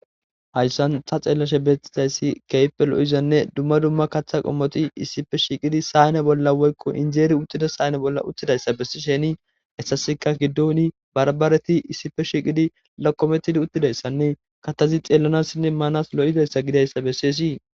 Hayssan ta xeellashe bettizayssi keehippe lo7izanne dumma dumma kaththa qommoti issife shiiqidi sayane bolla woykko injeeri uttida sayane bolla uttidayssa bessi sheni hessasika giddooni barbaareti issife shiiqidi lakkometidi uttidayssanne katthazi xeellanassinne maanas lo7idayssa gidayssa bessees.